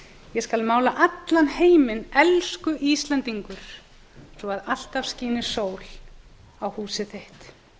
ég skal mála allan heiminn elsku íslendingur svo alltaf skíni sól í húsið þitt